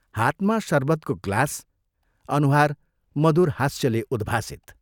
हातमा शरबतको ग्लास अनुहार मधुर हास्यले उद्भाषित।